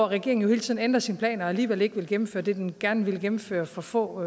regeringen jo hele tiden ændrer sine planer og alligevel ikke vil gennemføre det den gerne ville gennemføre for få